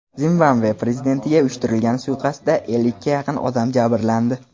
Zimbabve prezidentiga uyushtirilgan suiqasdda ellikka yaqin odam jabrlandi.